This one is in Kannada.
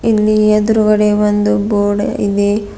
ಇಲ್ಲಿ ಎದ್ರುಗಡೆ ಒಂದು ಬೋರ್ಡ್ ಇದೆ.